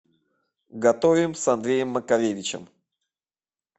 готовим с андреем макаревичем